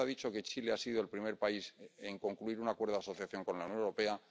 usted ha dicho que Chile ha sido el primer país en concluir un acuerdo asociación con la Unión Europea.